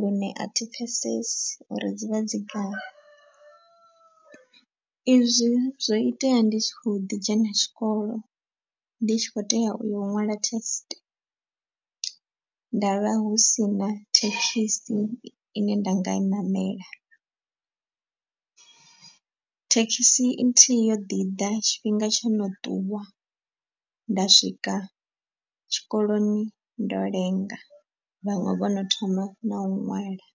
Lune a thi pfhesesi uri dzi vha dzi gai, izwi zwo itea ndi kho ḓi dzhena tshikolo ndi tshi kho tea uya u ṅwala test. Ndavha hu si na thekhisi ine nda nga i ṋamela thekhisi nthihi yo ḓiḓa tshifhinga tsho no ṱuwa nda swika tshikoloni ndo lenga vhaṅwe vhono thoma na u ṅwala.